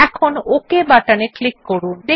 এখন okay button এ click করুন